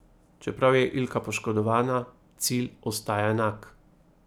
Čeprav je Ilka poškodovana, cilj ostaja enak.